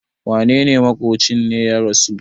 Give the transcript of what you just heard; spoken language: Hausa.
wanene maƙocin ne ya rasu?